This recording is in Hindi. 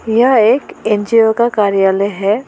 यह एक एन_जी_ओ का कार्यालय है।